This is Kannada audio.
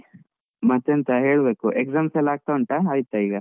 ಮತ್ತೆಂತ ಹೇಳ್ಬೇಕು, exams ಎಲ್ಲ ಆಗ್ತಾ ಉಂಟಾ ಆಯ್ತಾ ಈಗ?